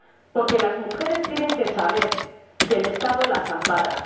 Porque las mujeres tienen que saber que el Estado las ampara.